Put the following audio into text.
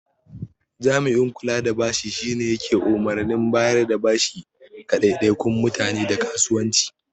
Jami'in kula da bashi shine yake umarnin bayarda bashi ga ɗaiɗaikun mutane da kasuwanci.